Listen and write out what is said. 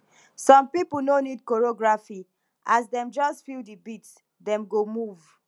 some people no need choreography as dem just feel the beat dem go move